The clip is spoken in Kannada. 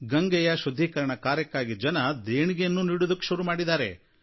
ಗಂಗೆಯ ಶುದ್ಧೀಕರಣ ಕಾರ್ಯಕ್ಕಾಗಿ ಜನ ದೇಣಿಗೆಯನ್ನೂ ನೀಡೋದಕ್ಕೆ ಶುರು ಮಾಡಿದ್ದಾರೆ